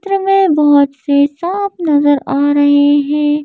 चित्र में बहोत से शॉप नजर आ रहे हैं।